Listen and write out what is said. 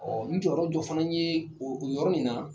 Ɔ n jɔyɔrɔ dɔ fana ye o yɔrɔ min na